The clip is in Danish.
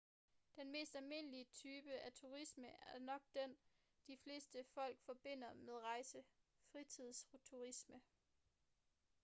den mest almindelige type af turisme er nok den de fleste folk forbinder med rejse fritidsturisme